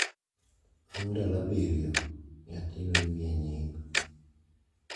bang’ ndalo abiriyo, nyathino imiye nying.